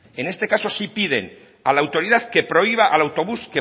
en este caso sí piden a la autoridad que prohíba al autobús